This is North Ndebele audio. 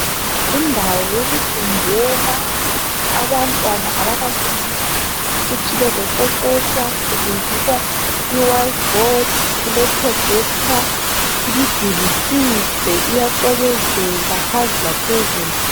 Indawo yokufundela abantwana abakafiki ukuthi bezoqeqetsha kusetshenziswa ibhodi emhlophe kuleprojekitha imiduli mihle iyacwebezela phansi laphezulu.